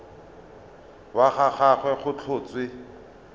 wa ga gagwe go tlhotswe